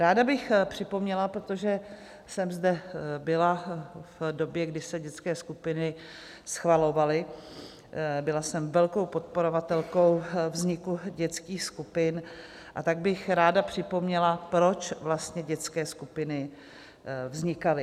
Ráda bych připomněla, protože jsem zde byla v době, kdy se dětské skupiny schvalovaly, byla jsem velkou podporovatelkou vzniku dětských skupin, a tak bych ráda připomněla, proč vlastně dětské skupiny vznikaly.